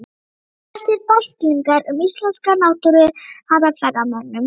Þetta eru bæklingar um íslenska náttúru handa ferðamönnum.